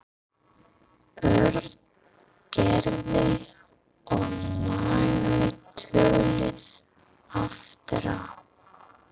Örn Gerði og lagði tólið aftur á.